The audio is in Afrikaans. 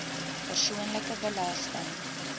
persoonlike belasting